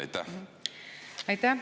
Aitäh!